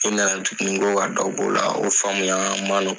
I nana tuguni ko ka dɔ b'o la, o faamuyaŋa ma nɔgɔ